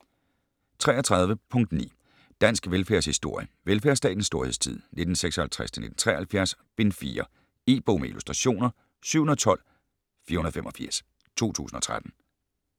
33.9 Dansk velfærdshistorie: Velfærdsstatens storhedstid: 1956-1973: Bind 4 E-bog med illustrationer 712485 2013.